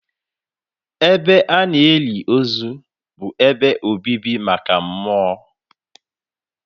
Ebe a na-eli ozu bụ ebe obibi maka mmụọ.